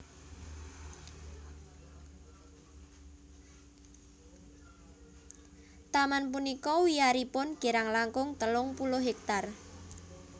Taman punika wiyaripun kirang langkung telung puluh hektar